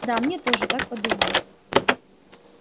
да мне тоже так подумалось